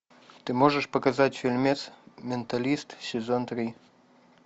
ты можешь показать фильмец менталист сезон три